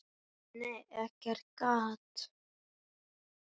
Nei, nei, ekkert gat!